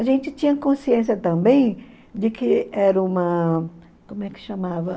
A gente tinha consciência também de que era uma... Como é que chamava?